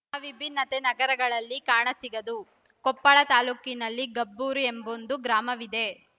ಆ ವಿಭಿನ್ನತೆ ನಗರಗಳಲ್ಲಿ ಕಾಣಸಿಗದು ಕೊಪ್ಪಳ ತಾಲ್ಲೂಕಿನಲ್ಲಿ ಗಬ್ಬೂರು ಎಂಬೊಂದು ಗ್ರಾಮವಿದೆ